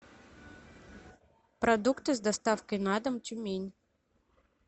продукты с доставкой на дом тюмень